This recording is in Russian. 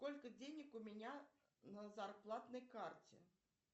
сколько денег у меня на зарплатной карте